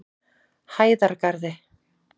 Hæðargarði